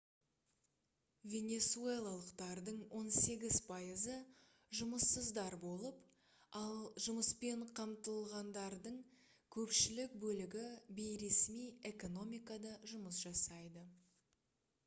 венесуэлалықтардың он сегіз пайызы жұмыссыздар болып ал жұмыспен қамтылғандардың көпшілік бөлігі бейресми экономикада жұмыс жасайды